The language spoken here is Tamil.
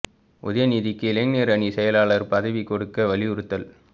உதயநிதிக்கு இளைஞர் அணி செயலாளர் பதவி கொடுக்க வலியுறுத்தல்